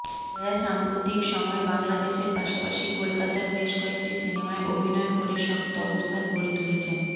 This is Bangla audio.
জয়া সাম্প্রতিক সময় বাংলাদেশের পাশাপাশি কোলকাতার বেশ কয়েকটি সিনেমায় অভিনয় করে শক্ত অবস্থান গড়ে তুলেছেন